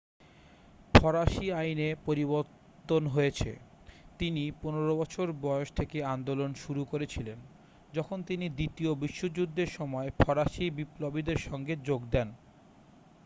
ফরাসি আইনে পরিবর্তন হয়েছে তিনি 15 বছর বয়স থেকে আন্দোলন শুরু করেছিলেন যখন তিনি দ্বিতীয় বিশ্বযুদ্ধের সময় ফরাসি বিপ্লবীদের সঙ্গে যোগ দেন